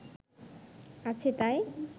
আছে তাই